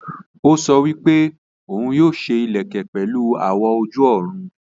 Ó sọ wípé òun yóò ṣe ìlẹ̀kẹ̀ pẹ̀lu àwọ̀ ojú-ọ̀run